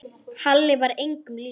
Halli var engum líkur.